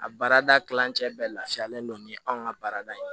A baarada kilancɛ bɛ laafiyalen don ni anw ka baarada ye